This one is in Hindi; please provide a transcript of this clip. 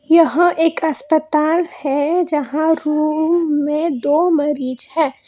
यह एक अस्पताल है। जहां रूम में दो मरीज हैं।